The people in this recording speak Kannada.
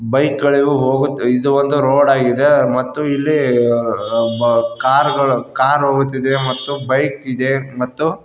ಬೈಕ್ ಗಳಿಗೂ ಹೋಗುತ್ ಇದು ಒಂದು ರೋಡ್ ಆಗಿದೆ ಮತ್ತು ಇಲ್ಲಿ ಕಾರ್ ಗಳು ಕಾರ್ ಹೋಗುತ್ತಿದೆ ಮತ್ತು ಬೈಕ್ ಇದೆ.